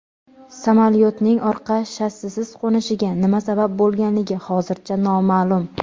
Samolyotning orqa shassisiz qo‘nishiga nima sabab bo‘lganligi hozircha noma’lum.